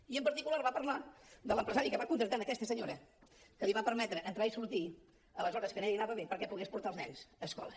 i en particular va parlar de l’empresari que va contractar aquesta senyora que li va permetre entrar i sortir a les hores que a ella li anaven bé perquè pogués portar els nens a escola